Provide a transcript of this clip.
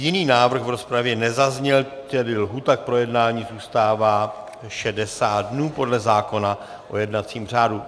Jiný návrh v rozpravě nezazněl, tedy lhůta k projednání zůstává 60 dnů podle zákona o jednacím řádu.